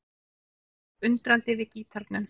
Áslaug tók undrandi við gítarnum.